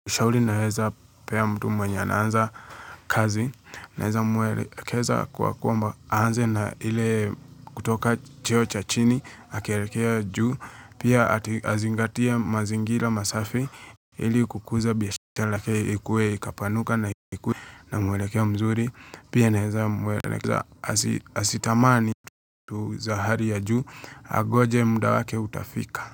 Shauri naeza pea mtu mwenye anaanza kazi. Naeza mwelekeza kwa kwamba aanze na ile kutoka cheo cha chini. Akielekea juu. Pia ati azingatie mazingira masafi. Ili kukuza biashara yake ikue ikapanuka na ikue na mwelekeo mzuri. Pia narza mwelekeza asitamani vitu za hali ya juu. Agonje mda wake utafika.